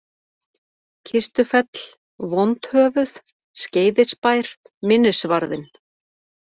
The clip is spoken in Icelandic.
Kistufell, Vondhöfuð, Skeiðisbær, Minnisvarðinn